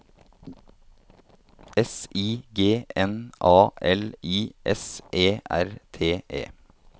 S I G N A L I S E R T E